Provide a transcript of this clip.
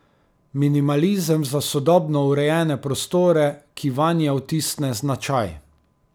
Minimalizem za sodobno urejene prostore, ki vanje vtisne značaj.